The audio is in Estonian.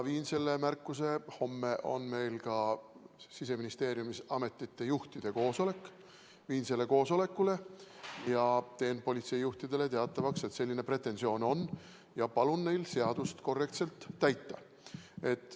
Homme on meil Siseministeeriumis ametite juhtide koosolek, ma sellel koosolekul teen politseijuhtidele teatavaks, et selline pretensioon on, ja palun neil seadust korrektselt täita.